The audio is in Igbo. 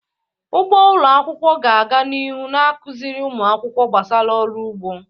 Ugbo ụlọ akwụkwọ ga-aga n'ihu na-akụziri ụmụ akwụkwọ gbasara ọrụ ugbo.